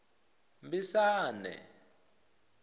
mbisane